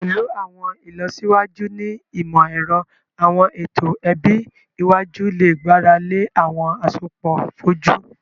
Pẹlu awọn ilọsiwaju ni imọ-ẹrọ, awọn eto ẹbi iwaju le gbarale awọn asopọ foju